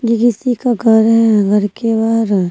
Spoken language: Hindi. ये किसी का घर है घर के बाहर--